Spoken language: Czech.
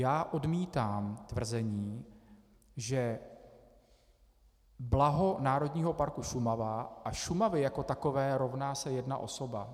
Já odmítám tvrzení, že blaho Národního parku Šumava a Šumavy jako takové rovná se jedna osoba.